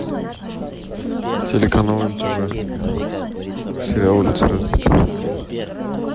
телеканал нтв сериал улицы разбитых фонарей